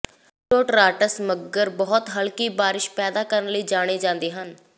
altostratus ਮੱਘਰ ਬਹੁਤ ਹਲਕੀ ਬਾਰਿਸ਼ ਪੈਦਾ ਕਰਨ ਲਈ ਜਾਣੇ ਜਾਂਦੇ ਹਨ